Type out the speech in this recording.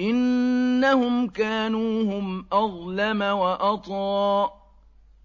إِنَّهُمْ كَانُوا هُمْ أَظْلَمَ وَأَطْغَىٰ